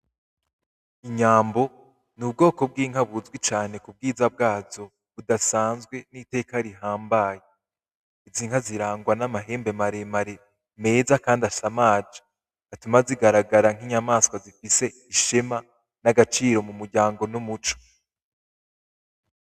Inyambo ni ubwoko bw'inka buzwi cane ku bwiza bwazo budasanzwe n'iteka rihambaye. Izi nka zirangwa n'amahembe mare mare meza kandi asamaje atuma zigaragara nk'inyamaswa zifise ishema n'agaciro mu muryango n'umuco.